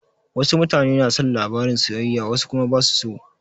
Wasu mutane na son labarin soyayya wasu kuma basa so.